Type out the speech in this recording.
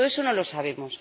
Todo eso no lo sabemos.